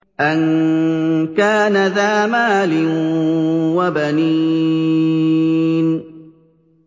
أَن كَانَ ذَا مَالٍ وَبَنِينَ